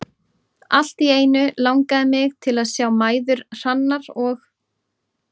Allt í einu langaði mig til að sjá mæður Hrannar og